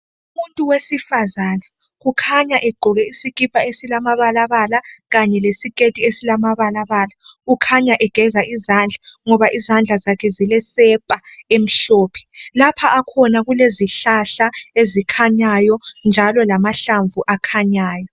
Umuntu wesifazane ukhanya egqoke isikipa esilamabalabala kanye lesiketi esilamabalabala ukhanya egeza izandla ngoba izandla zakhe zilesepa emhlophe lapha akhona kulezihlahla ezikhanyayo njalo lamahlamvu akhanyayo